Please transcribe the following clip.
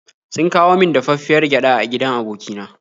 Sun kawo min dafaffiyar gyada a gidan aboki na.